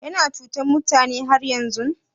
Yana cutan mutane har yanzun?